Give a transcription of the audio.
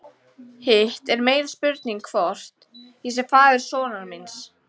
Hitt er meiri spurning hvort ég sé faðir sonar míns.